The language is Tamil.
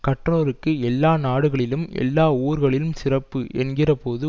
கற்றோர்க்கு எல்லா நாடுகளிலும் எல்லா ஊர்களிலும் சிறப்பு என்கிறபோது